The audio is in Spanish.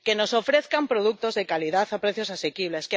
que nos ofrezcan productos de calidad a precios asequibles